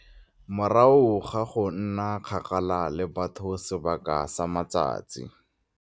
Morago ga go nna kgakala le batho sebaka sa matsatsi.